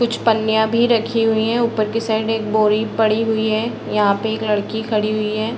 कुछ पन्निया भी रखी हुई है ऊपर के साइड एक बोरी पड़ी हुई है। यहाँ पे एक लड़की खड़ी हुई है।